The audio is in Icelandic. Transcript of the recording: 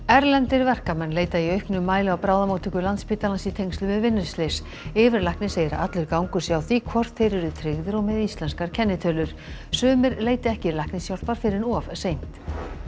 erlendir verkamenn leita í auknum mæli á bráðamóttöku Landspítalans í tengslum við vinnuslys yfirlæknir segir að allur gangur sé á því hvort þeir eru tryggðir og með íslenskar kennitölur sumir leiti ekki læknishjálpar fyrr en of seint